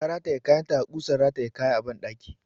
Ta rataye kayanta a ƙusan rataya kaya a ɓandaki.